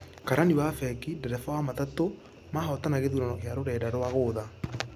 Karani wa fengi, ndereba wa matatũ mahotana gĩthurano gĩa rũrenda rwa gũtha.